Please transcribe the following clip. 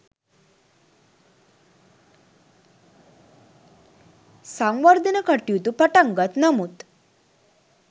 සංවර්ධන කටයුතු පටන්ගත් නමුත්